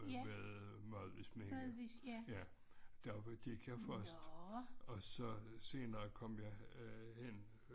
Ved Madvigs Minde ja der var gik jeg først og så senere kom jeg øh hen